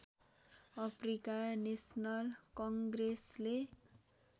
Africa national कङ्ग्रेसले